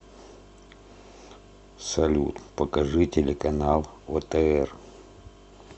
салют покажи телеканал отр